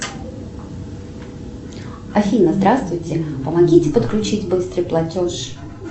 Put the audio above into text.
афина здравствуйте помогите подключить быстрый платеж